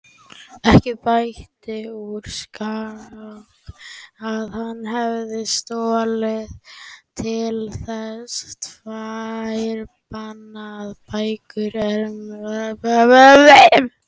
Ekki bætti úr skák að hann hafði stolist til að lesa tvær bannaðar bækur Erasmusar.